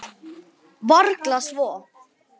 Týri minn komdu til mín.